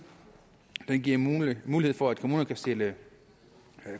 den giver mulighed mulighed for at kommunerne kan stille